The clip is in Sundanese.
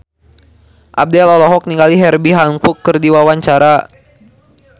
Abdel olohok ningali Herbie Hancock keur diwawancara